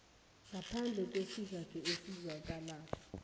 ngaphandle kwesizathu esizwakalako